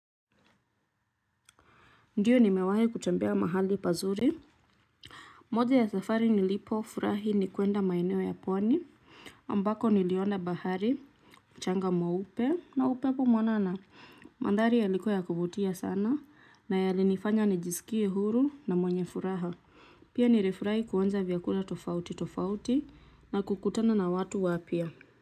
Ndio nimewahi kutembea mahali pazuri moja ya safari nilipofurahi ni kuenda maeneo ya pwani ambako niliona bahari mchanga mweupe na upepo mwanana mandhari yalikuwa ya kuvutia sana na yalinifanya nijisikie huru na mwenye furaha pia nirifurahi kuonja vyakula tofauti tofauti na kukutana na watu wapya.